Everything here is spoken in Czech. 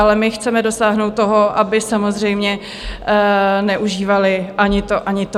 Ale my chceme dosáhnout toho, aby samozřejmě neužívaly ani to, ani to.